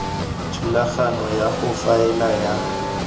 thulaganyo ya go faela ya